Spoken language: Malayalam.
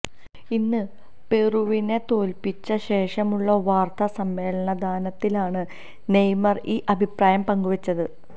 ഇന്ന് പെറുവിനെ തോല്പ്പിച്ച ശേഷമുള്ള വാര്ത്താ സമ്മേളദനത്തിലാണ് നെയ്മര് ഈ അഭിപ്രായം പങ്കുവച്ചത്